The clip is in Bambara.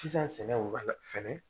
Sisan sɛnɛ u b'a la fɛnɛ